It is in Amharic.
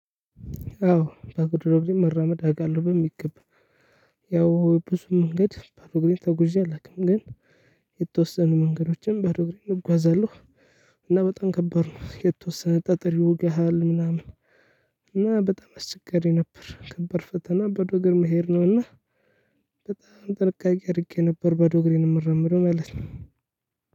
አዎ ባዶ እግሬን መራመድ አውቃለሁ በሚገባ ያው ብዙ መንገድ ባዶ እግሬን ተጉዠ አላቅም ግን የተወሰኑ መንገዶችን ባዶ እግሬን እጓዛለሁ። እና በጣም ከባድ ነው የተወሰነ ጠጠር ይወጋሃል ምናምን። እና በጣም አስቸጋሪ ነበር ከባድ ፈተና ባዶ እግር መሄድ ነው። እና በጣም ጥንቃቄ አድርጌ ነበር ባዶ እግሬን የምራመደው ማለት ነው።